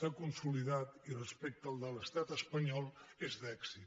s’ha consolidat i respecte al de l’estat espanyol és d’èxit